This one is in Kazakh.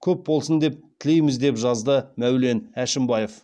көп болсын деп тілейміз деп жазды мәулен әшімбаев